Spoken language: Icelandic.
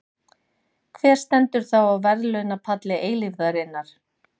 Hver stendur þá á verðlaunapalli eilífðarinnar?